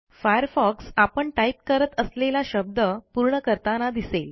Firefox आपण type करत असलेला शब्द पूर्ण करताना दिसेल